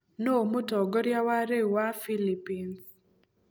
Nũũ mũtongoria wa rĩu wa Philippines?